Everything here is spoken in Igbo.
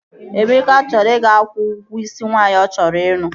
Emeka chọrọ ị ga-kwụọ ụgwọ isi nwaanyị ọ chọrọ ịlụ